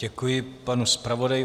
Děkuji panu zpravodaji.